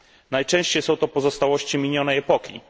Najczęściej są to pozostałości minionej epoki.